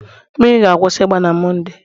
mmiri ga-akwụsị ịgba na Mọnde